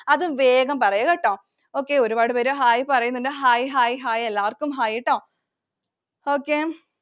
അത് വേഗം പറയു കേട്ടോ. Okay. ഒരുപാട് പേര് Hi പറയുന്നുണ്ട്. Hi. Hi. Hi. എല്ലാവർക്കും Hi ട്ടോ Okay.